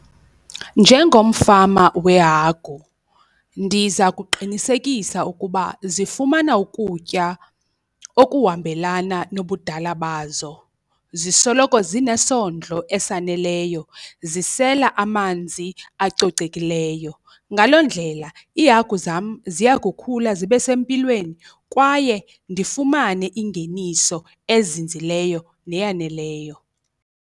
Njengomfama wehagu ndiza kuqinisekisa ukuba zifumana ukutya okuhambelana nobudala bazo, zisoloko zinesondlo esaneleyo, zisela amanzi acocekileyo. Ngaloo ndlela iihagu zam ziya kukhula zibe sempilweni kwaye ndifumane ingeniso ezinzileyo neyaneleyo.